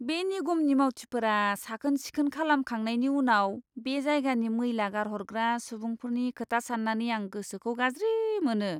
बे निगमनि मावथिफोरा साखोन सिखोन खालामखांनायनि उनाव बे जायगानि मैला गारहरग्रा सुबुंफोरनि खोथा साननानै आं गोसोखौ गाज्रि मोनो!